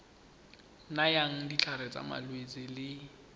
nayang ditlhare tsa malwetse le